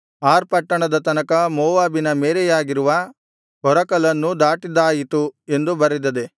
R ಪಟ್ಟಣದ ತನಕ ಮೋವಾಬಿನ ಮೇರೆಯಾಗಿರುವ ಕೊರಕಲನ್ನೂ ದಾಟಿದ್ದಾಯಿತು ಎಂದು ಬರೆದದೆ